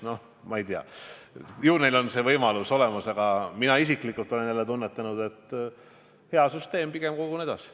Noh, ma ei tea, ju neil on see võimalus olemas, aga mina isiklikult olen tunnetanud, et süsteem on hea, pigem kogun edasi.